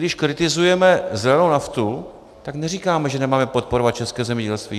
Když kritizujeme zelenou naftu, tak neříkáme, že nemáme podporovat české zemědělství.